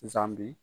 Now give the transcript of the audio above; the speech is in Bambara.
Sisan bi